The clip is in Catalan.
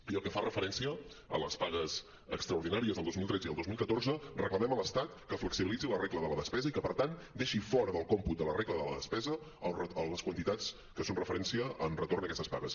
i pel que fa referència a les pagues extraordinàries del dos mil tretze i el dos mil catorze reclamem a l’estat que flexibilitzi la regla de la despesa i que per tant deixi fora del còmput de la regla de la despesa les quantitats que són referència en retorn d’aquestes pagues